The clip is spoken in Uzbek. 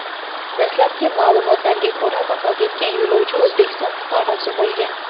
Dastlabki ma’lumotlarga ko‘ra, vafot etgan yo‘lovchi O‘zbekiston fuqarosi bo‘lgan.